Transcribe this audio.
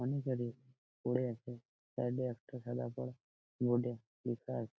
অনেকেরই পড়ে আছে সাইড -এ একটা সাদা করা বোর্ড -এ লেখা আ--